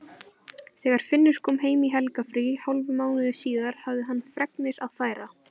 Þegar Finnur kom heim í helgarfrí hálfum mánuði síðar hafði hann fregnir að færa.